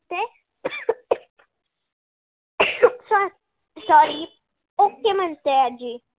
sorry ok म्हणतेय आजी.